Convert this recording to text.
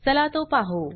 चला तो पाहु